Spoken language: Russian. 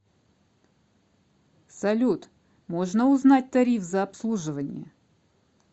салют можно узнать тариф за обслуживание